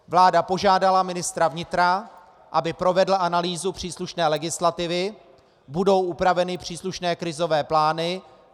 Vláda požádala ministra vnitra, aby provedl analýzu příslušné legislativy, budou upraveny příslušné krizové plány.